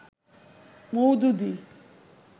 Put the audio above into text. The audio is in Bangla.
মওদুদী